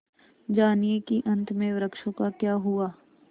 जानिए कि अंत में वृक्षों का क्या हुआ